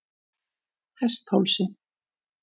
Hesthálsi